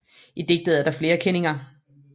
I digtet er der flere kenninger